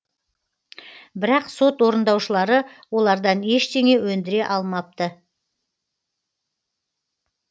бірақ сот орындаушылары олардан ештеңе өндіре алмапты